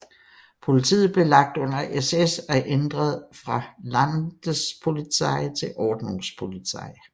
Politiet blev lagt under SS og ændret fra Landespolizei til Ordnungspolizei